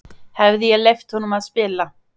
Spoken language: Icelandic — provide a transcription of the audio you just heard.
Hefði ég leyft honum að spila?